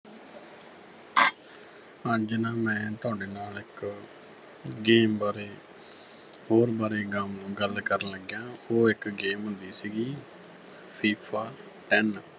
ਅੱਜ ਨਾ ਮੈਂ ਤੁਹਾਡੇ ਨਾਲ ਇੱਕ game ਬਾਰੇ ਹੋਰ ਬਾਰੇ ਗਮ ਅਹ ਗੱਲ ਕਰਨ ਲੱਗਾ ਉਹ ਇੱਕ game ਹੁੰਦੀ ਸੀਗੀ FIFA Ten